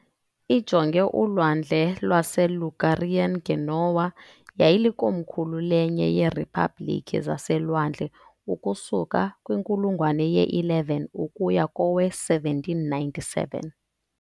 Ijonge uLwandle lwaseLigurian, iGenoa yayilikomkhulu lenye yeeriphabliki zaselwandle ukusuka kwinkulungwane ye-11 ukuya kowe-1797.